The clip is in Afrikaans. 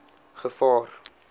gevaar